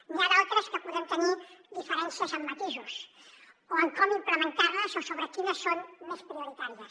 n’hi ha d’altres en què podem tenir diferències en matisos o en com implementar les o sobre quines són més prioritàries